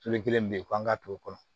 Tole kelen min bɛ yen ko an ka to kɔnɔ